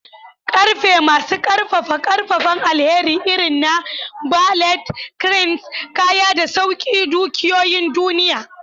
Ƙarfe masu ƙaƙƙarfan ƙaƙƙarfan alheri irin na ballet, cranes, kaya da sauke dukiyoyin duniya.